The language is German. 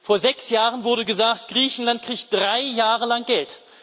Vor sechs Jahren wurde gesagt Griechenland kriegt drei Jahre lang Geld.